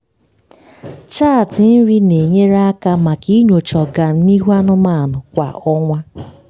chaatị nri na-enyere aka maka inyocha ọganihu anụmanụ kwa ọnwa.